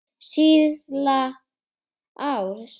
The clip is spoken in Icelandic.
Síðla árs.